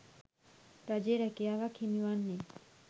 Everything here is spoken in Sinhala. රජයේ රැකියාවක් හිමිවන්නේ